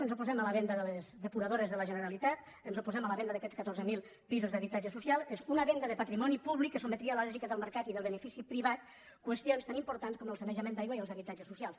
ens oposem a la venda de les depuradores de la generalitat ens oposem a la venda d’aquests catorze mil pisos d’habitatge social és una venda de patrimoni públic que sotmetria a la lògica del mercat i del benefici privat qüestions tan importants com el sanejament d’aigua i els habitatges socials